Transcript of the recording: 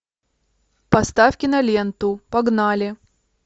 поставь киноленту погнали